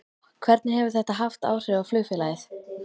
Hvernig hefur þetta haft áhrif á flugfélagið?